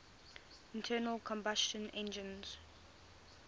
internal combustion engines